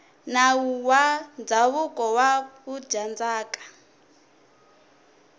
nawu wa ndzhavuko wa vudyandzhaka